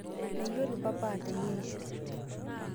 Meyielo papa ateyerisho